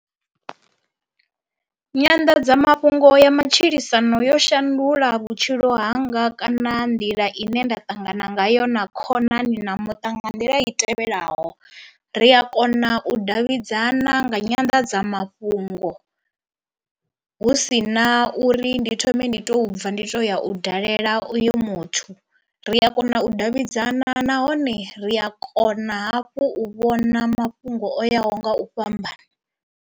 Nyanḓadzamafhungo ya matshilisano yo shandula vhutshilo hanga kana nḓila ine nda ṱangana ngayo na khonani na muṱa nga nḓila i tevhelaho, ri a kona u davhidzana nga nyanḓadzamafhungo hu si na uri ndi thome ndi to bva ndi to ya u dalela uyo muthu. Ri a kona u davhidzana nahone ri a kona hafhu u vhona mafhungo o yaho nga u fhambana.